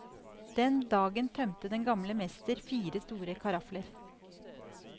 Den dagen tømte den gamle mester fire store karafler.